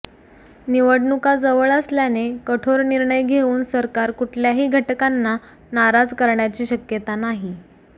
निवडणुका जवळ असल्याने कठोर निर्णय घेऊन सरकार कुठल्याही घटकांना नाराज करण्याची शक्यता नाही